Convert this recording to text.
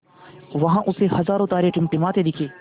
वहाँ उसे हज़ारों तारे टिमटिमाते दिखे